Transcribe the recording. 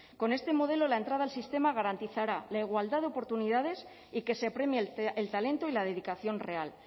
con este modelo la entrada al sistema garantizará la igualdad de oportunidades y que se premie el talento y la dedicación real